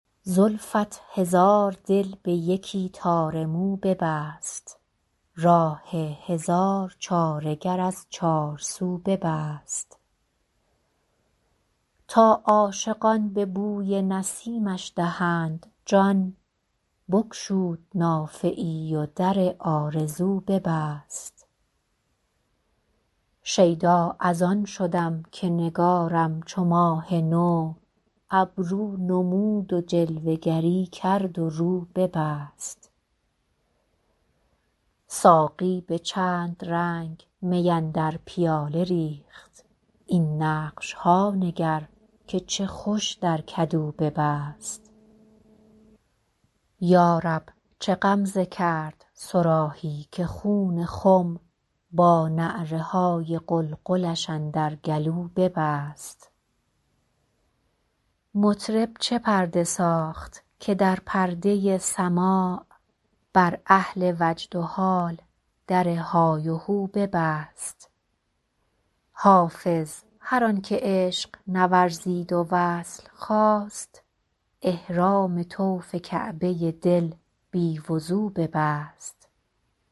زلفت هزار دل به یکی تار مو ببست راه هزار چاره گر از چارسو ببست تا عاشقان به بوی نسیمش دهند جان بگشود نافه ای و در آرزو ببست شیدا از آن شدم که نگارم چو ماه نو ابرو نمود و جلوه گری کرد و رو ببست ساقی به چند رنگ می اندر پیاله ریخت این نقش ها نگر که چه خوش در کدو ببست یا رب چه غمزه کرد صراحی که خون خم با نعره های قلقلش اندر گلو ببست مطرب چه پرده ساخت که در پرده سماع بر اهل وجد و حال در های وهو ببست حافظ هر آن که عشق نورزید و وصل خواست احرام طوف کعبه دل بی وضو ببست